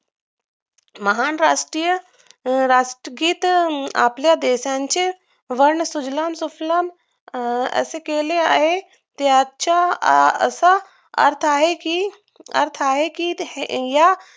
महान राष्ट्रीय राष्ट्रगीत आपल्या देशांची सुजलाम सुफलाम अं असे केले आहे त्याच्या असा अर्थ आहे कि आहे कि हे या